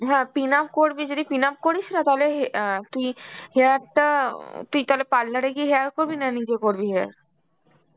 হ্যাঁ pinup করবি, যদি pinup করিস না তাহলে হে~ অ্যাঁ কি hair টা উম তুই তাহলে parlour এ গিয়ে hair করবি, না নিজে করবি hair?